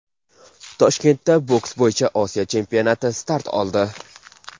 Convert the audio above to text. Toshkentda boks bo‘yicha Osiyo chempionati start oldi.